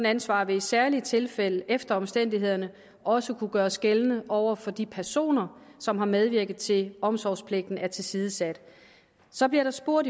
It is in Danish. ansvar vil i særlige tilfælde efter omstændighederne også kunne gøres gældende over for de personer som har medvirket til at omsorgspligten er blevet tilsidesat så bliver der spurgt